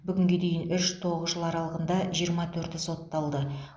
бүгінге дейін үш тоғыз жыл аралығында жиырма төрті сотталды